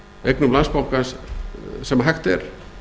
eignum landsbankans sem hægt er